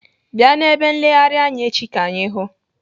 Bịa n'ebe nleghari anya echi ka anyị hụụ!